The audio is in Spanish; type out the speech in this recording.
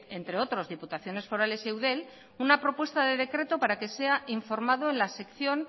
otros diputaciones forales y eudel una propuesta de decreto para que sea informado